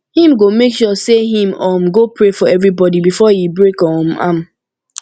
him go make sure say him um go pray for evribodi befor e break um am